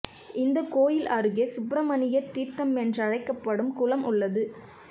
இந்தக் கோயில் அருகே சுப்பிரமணியர் தீர்த்தம் என்றழைக்கப்படும் குளம் உள்ளது